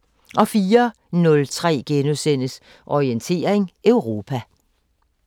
04:03: Orientering Europa *